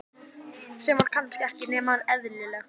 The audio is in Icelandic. Sem var kannski ekki nema eðlilegt.